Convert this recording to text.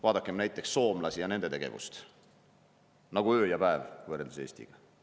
Vaadakem näiteks soomlasi ja nende tegevust – nagu öö ja päev võrreldes Eestiga.